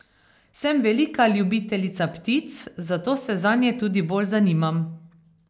Sem velika ljubiteljica ptic, zato se zanje tudi bolj zanimam.